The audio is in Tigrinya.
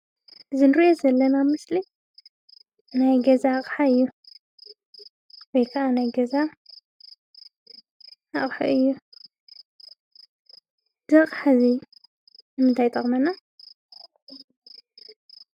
እዙይ ኣብ ምስሊ እንርእዮ ዘለና ናይ ገዛ ኣቅሓ እዩ። ወይ ከዓ ናይ ገዛ ኣቁሑ እዩ። እዙይ ኣቅሓ ንምንታይ ይጠቅመና?